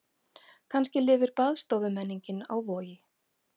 Kannski lifir baðstofumenningin á Vogi.